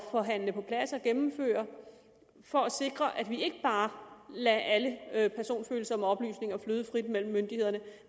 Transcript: forhandle på plads og gennemføre for at sikre at vi ikke bare lader alle personfølsomme oplysninger flyde frit mellem myndighederne